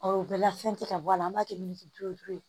Ɔ o bɛɛ la fɛn tɛ ka bɔ a la an b'a kɛ miliki duuru